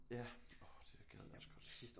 Ja orh det gad jeg også godt